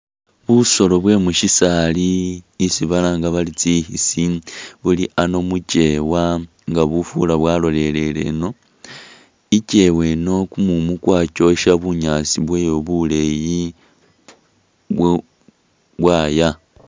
Busolo bwe mushisali isi balanga bari tsi'khisi buli ano mukyewa nga bufura bwalolelele eno, ikyewa eno kumumu kwakyosha bunyaasi bwoyo buleyi bwo bwaya